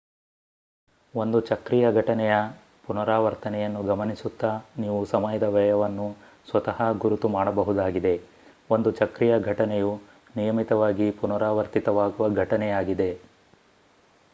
ಒಂದು ಚಕ್ರೀಯ ಘಟನೆಯ ಪುನರಾವರ್ತನೆಯನ್ನು ಗಮನಿಸುತ್ತಾ ನೀವು ಸಮಯದ ವ್ಯಯವನ್ನು ಸ್ವತಃ ಗುರುತು ಮಾಡಬಹುದಾಗಿದೆ ಒಂದು ಚಕ್ರೀಯ ಘಟನೆಯು ನಿಯಮಿತವಾಗಿ ಪುನರಾವರ್ತಿತವಾಗುವ ಘಟನೆಯಾಗಿದೆ